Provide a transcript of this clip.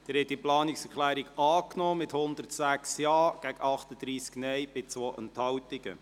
Sie haben diese Planungserklärung angenommen, mit 106 Ja- gegen 38 Nein-Stimmen bei 2 Enthaltungen.